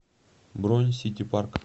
бронь сити парк